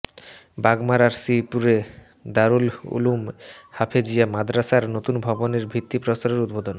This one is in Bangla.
বাগমারার শ্রীপুরে দারুল উলুম হাফেজিয়া মাদ্রাসার নতুন ভবনের ভিত্তিপ্রস্তরের উদ্বোধন